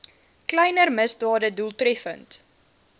kleiner misdade doeltreffend